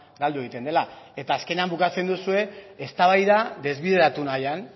galdu egiten dela eta azkenean bukatzen duzue eztabaida desbideratu nahian